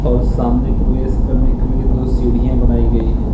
और सामने प्रवेश करने के लिए दो सीढ़ियां बनाई गई है।